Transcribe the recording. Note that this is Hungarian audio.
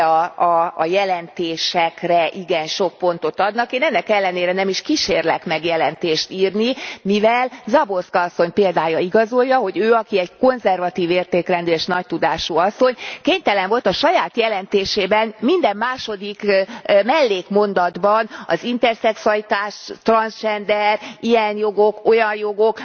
ugye a jelentésekre igen sok pontot adnak. Én ennek ellenére nem is kísérlek meg jelentést írni, mivel Záborská asszony példája igazolja, hogy ő aki egy konzervatív értékrendű és nagy tudású asszony kénytelen volt a saját jelentésében minden második mellékmondatban az interszexualitás, transgender, ilyen jogok, olyan jogok...